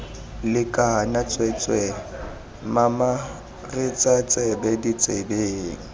lekana tsweetswee mamaretsa tsebe ditsebe